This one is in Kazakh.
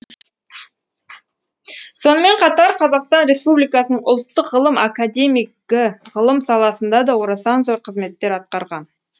сонымен қатар қазақстан республикасының ұлттық ғылым академигі ғылым саласында да орасан зор қызметтер атқарған